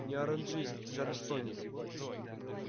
не оранжист чарльстонец